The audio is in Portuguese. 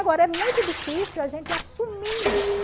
Agora, é muito difícil a gente assumir isso.